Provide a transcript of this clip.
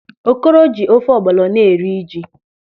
Okoro ji ofe ọgbọlọ na-eri ji.